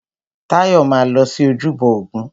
Táyọ̀ máa lọ sí ojúbọ ògún.